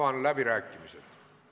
Aitäh!